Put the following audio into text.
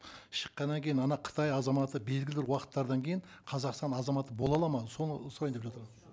шыққаннан кейін ана қытай азаматы белгілі бір уақыттардан кейін қазақстан азаматы бола алады ма соны сұрайын деп жатыр